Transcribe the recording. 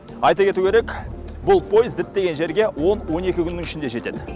айта кету керек бұл пойыз діттеген жеріге он он екі күннің ішінде жетеді